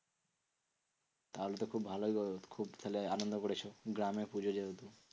তাহলে তো খুব ভালোই হলো খুব তাহলে আনন্দ করেছো? গ্রামের পুজো যেহেতু।